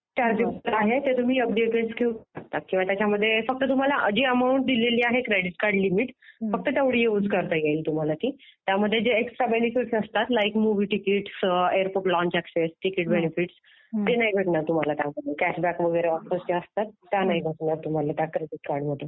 जे चार्जेबल आहे ते तुम्ही एफडी अगेन्स्ट घेऊ शकता. फक्त तुम्हाला आधी अमाऊंट दिलेली आहे क्रेडिट कार्ड लिमिट फक्त तेवढी यूज करता येईल तुम्हाला ती. त्यामध्ये जे एक्सट्रा बेनिफिट्स असतात like movie ticket, airport lounge access, ticket benefits ते नाही भेटणार तुम्हाला त्यामध्ये. कॅशबॅक वगैरे ऑफर्स ज्या असतात त्या नाही भेटणार तुम्हाला त्या क्रेडिट कार्डमध्ये